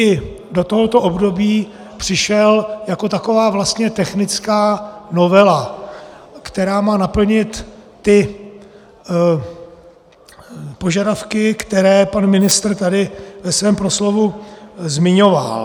I do tohoto období přišel jako taková vlastně technická novela, která má naplnit ty požadavky, které pan ministr tady ve svém proslovu zmiňoval.